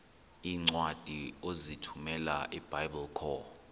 iincwadi ozithumela ebiblecor